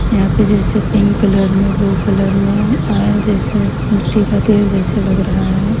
यहां पे जैसे पिंक कलर में ब्लू कलर में ऑयल जैसे मिट्टी का तेल जैसे लग रहा है।